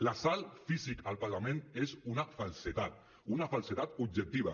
l’assalt físic al parlament és una falsedat una falsedat objectiva